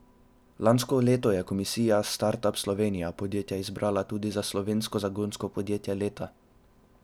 Lansko leto je komisija Start:up Slovenija podjetje izbrala tudi za Slovensko zagonsko podjetje leta.